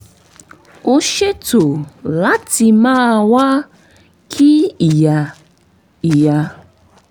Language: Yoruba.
ó ṣètò láti máa wá kí ìyá ìyá